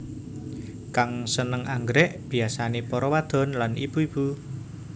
Kang sênêng anggrèk biyasané para wadon lan ibu ibu